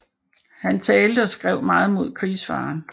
Han talte og skrev meget mod krigsfaren